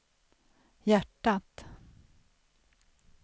hjärtat